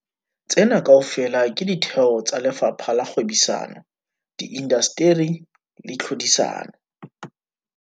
Tsena kaofela ke ditheo tsa Lefapha la Kgwebisano, Di indasteri le Tlhodisano.